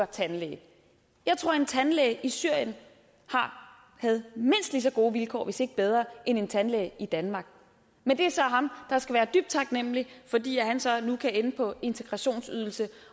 tandlæge jeg tror at en tandlæge i syrien havde mindst lige så gode vilkår hvis ikke bedre en tandlæge i danmark men det er så ham der skal være dybt taknemlig fordi han så nu kan ende på integrationsydelse